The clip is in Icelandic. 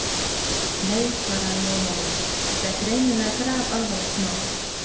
Nei, svaraði Jón Ólafur, þetta er greinilega grafalvarlegt mál.